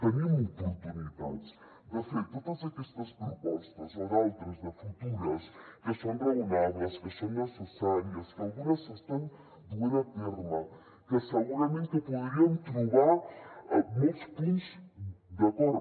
tenim oportunitats de fer totes aquestes propostes o d’altres de futures que són raonables que són necessàries que algunes s’estan duent a terme que segurament que podríem trobar molts punts d’acord